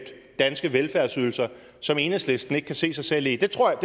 danske velfærdsydelser som enhedslisten ikke kan se sig selv i det tror